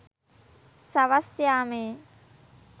සවස් යාමයේ